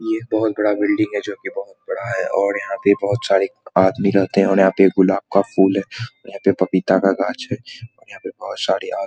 ये बहुत बड़ा बिल्डिंग है जो की बहुत बड़ा है और यहाँ पे बहुत सारे आदमी रहते हैं और यहाँ पे एक गुलाब का फूल है और यहाँ पे पपीता का गाछ है और यहाँ पे बहुत सारे आदमी --